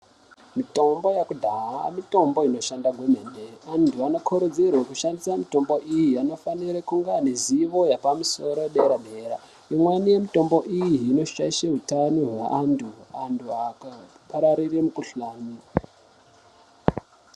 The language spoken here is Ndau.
Mitombo yekudhaya mitombo inoshanda maningi antu anokurudzirwa kushandisa mitombo mitombo vanofanirwa kunge vane zivo yepamusoro yepadera dera imweni yemutombo iyi inoshaishe hutano hwevantu vantu vakapararire mukuhlani.